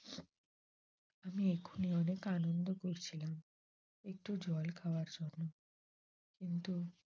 আমি এখনি অনেক আনন্দ করছিলাম একটু জল খাওয়ার জন্য কিন্তু